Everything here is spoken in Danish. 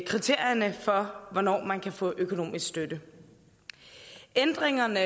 kriterierne for hvornår man kan få økonomisk støtte ændringerne